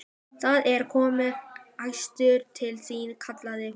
Það er kominn gestur til þín, kallaði hún.